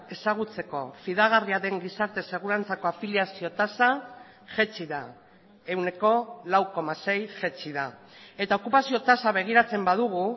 ezagutzeko fidagarria den gizarte segurantzako afiliazio tasa jaitsi da ehuneko lau koma sei jaitsi da eta okupazio tasa begiratzen badugu